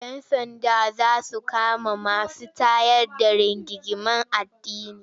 Yan sanda za su kama masu tayar da rigingimun addini.